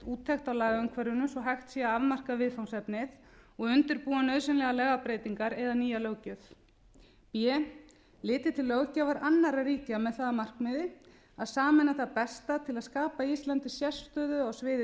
úttekt á lagaumhverfinu svo að hægt sé að afmarka viðfangsefnið og undirbúa nauðsynlegar lagabreytingar eða nýja löggjöf b litið til löggjafar annarra ríkja með það að markmiði að sameina það besta til að skapa íslandi sérstöðu á sviði